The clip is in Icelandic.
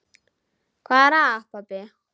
Hvað er að, pabbi?